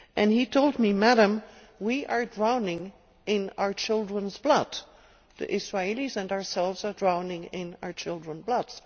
He said to me, Madame, we are drowning in our childrenʼs blood. The Israeli's and ourselves are drowning in our children's blood'.